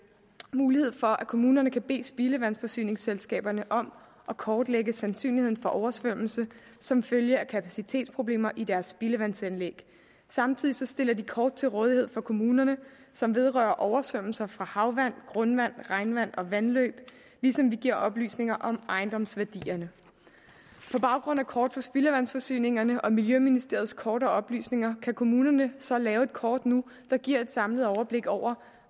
mulighed for at kommunerne kan bede spildevandsforsyningsselskaberne om at kortlægge sandsynligheden for oversvømmelse som følge af kapacitetsproblemer i deres spildevandsanlæg samtidig stiller de kort til rådighed for kommunerne som vedrører oversvømmelser fra havvand grundvand regnvand og vandløb ligesom vi giver oplysninger om ejendomsværdierne på baggrund af kort for spildevandsforsyningerne og miljøministeriets kort og oplysninger kan kommunerne så lave et kort nu der giver et samlet overblik over